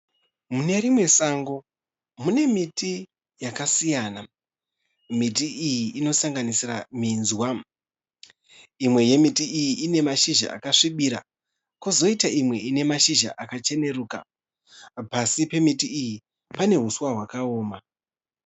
Mune rimwe sango mune miti yakasiyana. Miti iyi inosanganisira minzwa. Imwe yemiti iyi ine mashizha akasvibira kozoita imwe ine mashizha akacheneruka. Pasi pemiti iyi pane huswa hwakaoma.